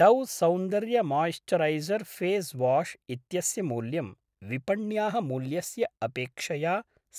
Dove सौन्दर्यमोइस्चरैसर् face wash इत्यस्य मूल्यं विपण्याः मूल्यस्य अपेक्षया